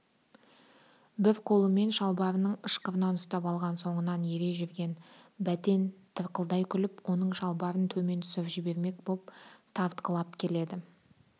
бір қолымен шалбарының ышқырынан ұстап алған соңынан ере жүрген бәтен тырқылдай күліп оның шалбарын төмен түсіріп жібермек боп тартқылап келеді